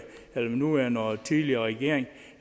den nuværende og tidligere regering